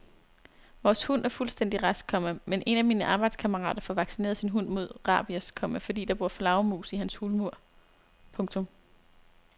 Vores hund er fuldstændig rask, komma men en af mine arbejdskammerater får vaccineret sin hund mod rabies, komma fordi der bor flagermus i hans hulmur. punktum